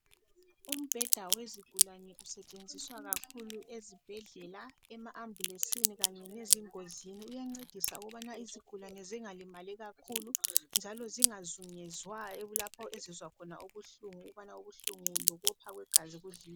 umbheda wezigulane usetshenziswa kakhulu ezibhedlela ema ambulesini kanye lezingozini uyancedisa ukubana izigulane zingalimali kakhulu njalo zingazungezwa lapho ezizwa khona ukuhlungu ukubana ubuhlungu lokopha kwegazi